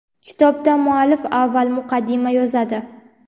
Kitobda muallif avval muqaddima yozadi.